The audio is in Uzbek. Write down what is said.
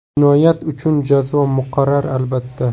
Jinoyat uchun jazo muqarrar, albatta.